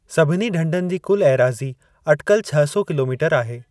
सभिनी ढंढनि जी कुलु एराज़ी अटिकल छह सौ किलोमीटर आहे।